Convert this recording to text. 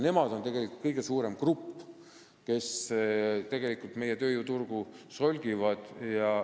Nemad on tegelikult kõige suurem grupp, kes meie tööjõuturgu solgivad.